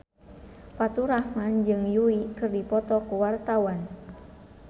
Faturrahman jeung Yui keur dipoto ku wartawan